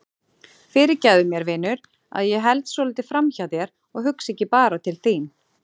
Fyrirgefðu mér vinur að ég held svolítið framhjá þér og hugsa ekki bara til þín.